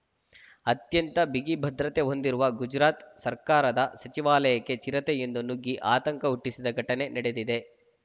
ಅತ್ಯಂತ ಬಿಗಿ ಭದ್ರತೆ ಹೊಂದಿರುವ ಗುಜರಾತ್‌ ಸರ್ಕಾರದ ಸಚಿವಾಲಯಕ್ಕೆ ಚಿರತೆಯೊಂದು ನುಗ್ಗಿ ಆತಂಕ ಹುಟ್ಟಿಸಿದ ಘಟನೆ ನಡೆದಿದೆ